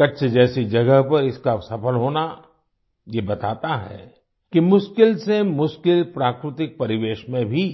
कच्छ जैसी जगह पर इसका सफल होना ये बताता है कि मुश्किल से मुश्किल प्राकृतिक परिवेश में भी